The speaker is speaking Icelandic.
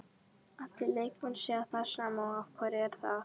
Allir leikmenn segja það sama og af hverju er það?